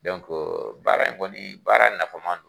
baara in kɔni baara nafama don.